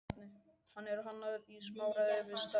Hann er hannaður í samráði við starfsmenn